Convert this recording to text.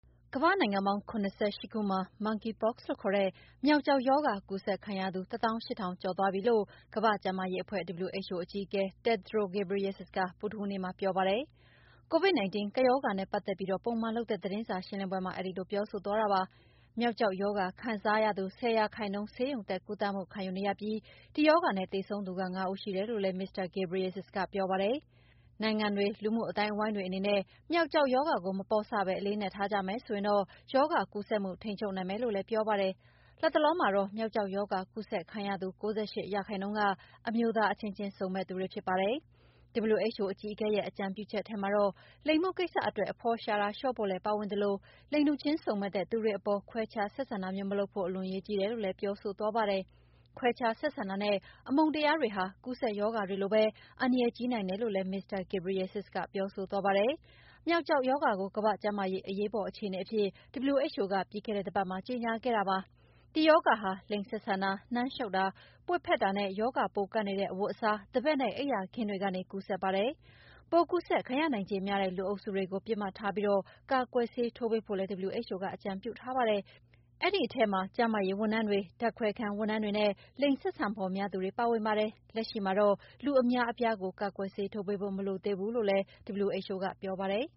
ကမ္ဘာ့နိုင်ငံပေါင်း ၇၈ ခုမှာ Monkeypox လို့ခေါ်တဲ့ မျောက်ကျောက်ရောဂါကူးစက်ခံရသူ ၁ သောင်း ၈ ထောင်ကျော်ရှိသွားပြီလို့ ကမ္ဘာ့ကျန်းမာရေးအဖွဲ့ WHO အကြီးအကဲ Tedros Adhanom Ghebreyesus ကဗုဒ္ဓဟူးနေ့မှာပြောပါတယ်။ Covid-19 ကပ်ရောဂါနဲ့ပတ်သက်ပြီး ပုံမှန်လုပ်တဲ့သတင်းစာရှင်းလင်းပွဲမှာ အဲဒီလိုပြောဆိုသွားတာပါ။ မျောက်ကျောက်ရောဂါကူးခံရသူ ၁၀ ရာခိုင်နှုန်း ဆေးရုံတက်ကုသမှုခံယူနေရပြီး ဒီရောဂါနဲ့သေဆုံးသူ ၅ ဦးရှိတယ်လို့လည်း မစ္စတာ Ghebreyesus ကပြောပါတယ်။ နိုင်ငံတွေ၊ လူမှုအသိုင်းအဝိုင်းတွေအနေနဲ့ ေမျောက်ကျောက်ရောဂါကို မပေါ့ဆပဲ အလေးအနက်ထားကြမယ်ဆိုရင်တော့ ရောဂါကူးစက်မှု ထိန်းချုပ်နိုင်မယ်လို့လည်း ပြောပါတယ်။ လတ်တလောမှာတော့ မျောက်ကျောက်ရောဂါကူးစက်ခံရသူ ၉၈ ရာခိုင်နှုန်းက အမျိုးသားအချင်းချင်းစုံမက်သူတွေဖြစ်ကြပါတယ်။ WHO အကြီးအကဲရဲ့အကြံပြုချက်ထဲမှာတော့ လိင်မှုကိစ္စအတွက် အဖော်ရှာတာတွေလျှော့ဖို့လည်းပါဝင်ပြီး လိင်တူချင်းစုံမက်တဲ့သူတွေအပေါ် ခွဲခြားဆက်ဆံတာမလုပ်ဖို့ အလွန်အရေးကြီးတယ်လို့လည်း ပြောဆိုသွားပါတယ်။ ခွဲခြားဆက်ဆံတာနဲ့ အမုန်းတရားတွေဟာ ကူးစက်ရောဂါတွေလိုပဲ အန္တရာယ်ကြီးနိုင်တယ်လို့လည်း မစ္စတာ Ghebreyesus ကပြောဆိုသွားတာပါ။ မျောက်ကျောက်ရောဂါကို ကမ္ဘာ့ ကျန်းမာရေးအရေးပေါ်အခြေအနေအဖြစ် WHO ကပြီးခဲ့တဲ့တပတ်မှာ ကြေညာခဲ့တာပါ။ ဒီရောဂါဟာ လိင်ဆက်ဆံတာ၊ နမ်းရှုတ်တာ၊ ပွေ့ဖက်တာနဲ့ ရောဂါပိုးကပ်နေတဲ့ အဝတ်အစား၊ သဘက်နဲ့ အိပ်ယာအိပ်ခင်းတွေကနေ ကူးစက်ပါတယ်။ ပိုးကူးစက်ခံရနိုင်ခြေများတဲ့ လူအုပ်စုတွေကို ပစ်မှတ်ထားပြီး ကာကွယ်ဆေးထိုးပေးဖို့လည်း WHO ကအကြံပြုထားပါတယ်။ အဲဒီထဲမှာ ကျန်းမာရေးဝန်ထမ်းတွေ၊ ဓာတ်ခွဲခန်းဝန်ထမ်းတွေနဲ့ လိင်ဆက်ဆံဖော် များသူတွေပါဝင်ပါတယ်။ လက်ရှိမှာတော့ လူအများအပြားကို ကာကွယ်ဆေးထိုးပေးဖို့ မလိုသေးဘူးလို့လည်း WHO ပြောပါတယ်